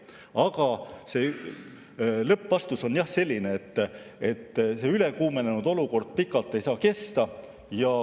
Aga lõppvastus on jah, selline, et see ülekuumenenud olukord pikalt ei saa kesta.